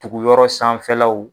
Tuguyɔrɔ sanfɛlaw